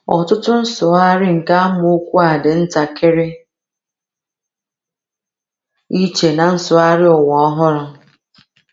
Ọtụtụ nsụgharị nke amaokwu a dị ntakịrị iche na Nsụgharị Ụwa Ọhụrụ.